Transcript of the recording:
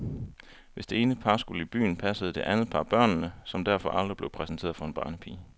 Hvis det ene par skulle i byen, passede det andet par børnene, som derfor aldrig blev præsenteret for en barnepige.